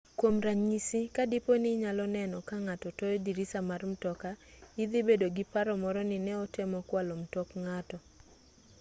kwom ranyisi ka dipo ni inyalo neno ka ng'ato toyo dirisa mar mtoka idhi bedo gi paro moro ni ne otemo kwalo mtok ng'ato